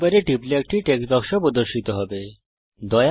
অঙ্কন প্যাডের উপর টিপুন একটি টেক্সট বাক্স প্রদর্শিত হবে